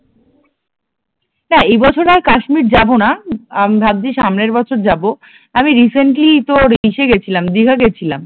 না এই বছর আর কাশ্মীর যাব না, আমি ভাবছি সামনের বছর যাব, আমি রিসেন্টলি তোর ইসে গেছিলাম দীঘা গেছিলাম